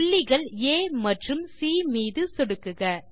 புள்ளிகள் ஆ மற்றும் சி மீது சொடுக்குக